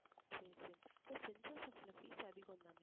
சரி சரி இல்ல செயின்ட் ஜோசப்ல fees அதிகம்தானே